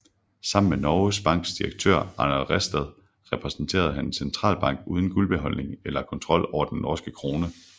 Sammen med Norges Banks direktør Arnold Ræstad repræsenterede han en centralbank uden guldbeholdning eller kontrol over den norske krone